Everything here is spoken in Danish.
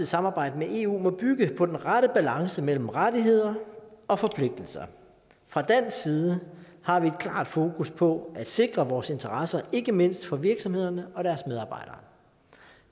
samarbejde med eu må bygge på den rette balance mellem rettigheder og forpligtelser fra dansk side har vi et klart fokus på at sikre vores interesser ikke mindst for virksomhederne og deres medarbejdere